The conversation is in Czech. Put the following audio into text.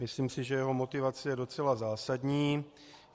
Myslím si, že jeho motivace je docela zásadní.